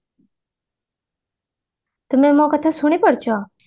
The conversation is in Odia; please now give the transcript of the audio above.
ତମେ ମୋ କଥା ଶୁଣି ପାରୁଛ